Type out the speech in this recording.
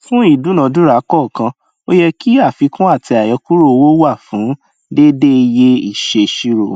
fún ìdúnadúrà kọọkan o yẹ kí àfikún àti àyọkúrò owó wà fún déédéé iye ìṣèṣirò